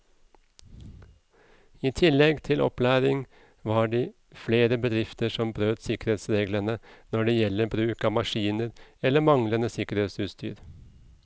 I tillegg til opplæring var det flere bedrifter som brøt sikkerhetsreglene når det gjelder bruk av maskiner eller manglende sikkerhetsutstyr.